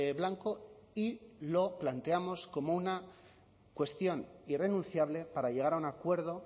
blanco y lo planteamos como una cuestión irrenunciable para llegar a un acuerdo